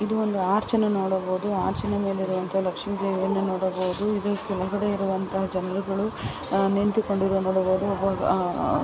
ಇದು ಒಂದು ಆರ್ಚ್ ಅನ್ನು ನೋಡಬಹುದು. ಆರ್ಚಿನ ಮೇಲೆ ಇರುವಂಥಹ ಲಕ್ಷ್ಮೀ ದೇವಿಯನ್ನು ನೋಡಬಹುದು. ಇದು ಕೆಳಗಡೆ ಇರುವಂತಹ ಜನರುಗಳು ಅಹ್ ನಿಂತುಕೊಂಡು ಇರುವುದನ್ನು ನೋಡಬಹುದು.